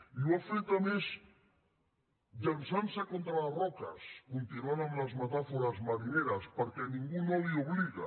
i ho ha fet a més llançant se contra les roques continuant amb les metàfores marineres perquè ningú no l’hi obliga